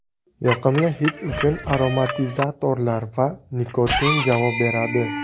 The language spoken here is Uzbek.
Yoqimli hid uchun aromatizatorlar va nikotin javob beradi.